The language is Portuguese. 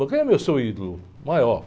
Mas quem é o seu ídolo maior?